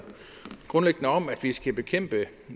grundlæggende om at vi skal bekæmpe